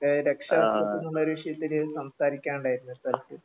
ഏ രക്ഷാകർതൃത്വം എന്നുള്ളൊരു വിഷയത്തില് സംസാരിക്കാനുണ്ടായിരുന്നു